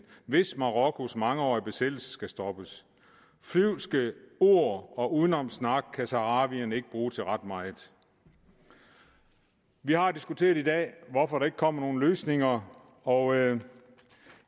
hvis marokkos mangeårige besættelse skal stoppes flyvske ord og udenomssnak kan saharawierne ikke bruge til ret meget vi har diskuteret i dag hvorfor der ikke kommer nogen løsninger og jeg